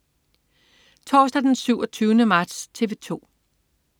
Torsdag den 27. marts - TV 2: